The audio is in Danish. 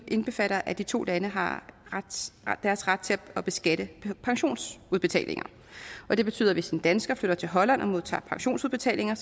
indbefatter at de to lande har deres ret til at beskatte pensionsudbetalinger det betyder at hvis en dansker flytter til holland og modtager pensionsudbetalinger